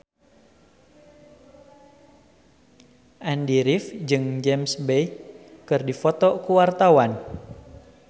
Andy rif jeung James Bay keur dipoto ku wartawan